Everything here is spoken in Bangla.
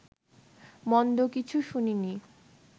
মন্দ কিছু শুনিনি